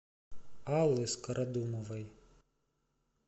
аллы скородумовой